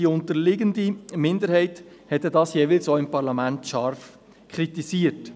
Die unterliegende Minderheit hatte dies denn jeweils auch im Parlament scharf kritisiert.